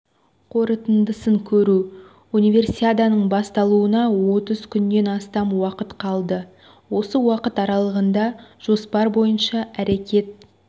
қорытындысын көру универсиаданың басталуына отыз күннен астам уақыт қалды осы уақыт аралығында жоспар бойынша әрекет